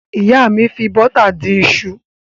Ìyá mi fi bọ́tà dín iṣu.